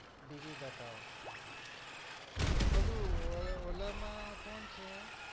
બીજું બતાઓ ઓલું ઓલા માં કોણ છે?